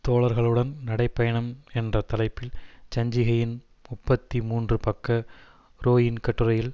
தோழர்களுடன் நடைப்பயணம் என்ற தலைப்பில் சஞ்சிகையின் முப்பத்தி மூன்று பக்க ரோயின் கட்டுரையில்